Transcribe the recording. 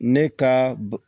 Ne ka